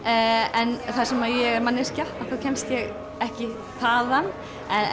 en þar sem ég er manneskja kemst ég ekki þaðan